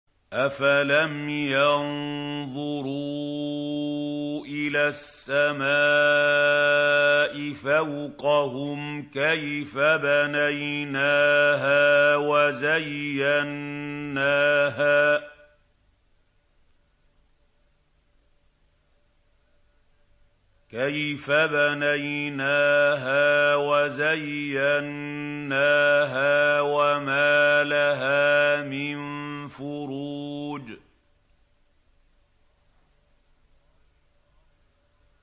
أَفَلَمْ يَنظُرُوا إِلَى السَّمَاءِ فَوْقَهُمْ كَيْفَ بَنَيْنَاهَا وَزَيَّنَّاهَا وَمَا لَهَا مِن فُرُوجٍ